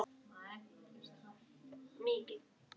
Stefán kannast við það.